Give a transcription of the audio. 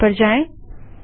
terminal पर जाएँ